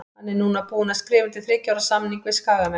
Hann er núna búinn að skrifa undir þriggja ára samning við Skagamenn.